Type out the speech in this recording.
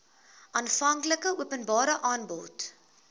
aanvanklike openbare aanbod